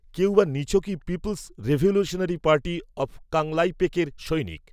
কেউ বা নিছকই পিপল্স, রেভলিউশনারি পার্টি, অব, কাংলাইপেকএর সৈনিক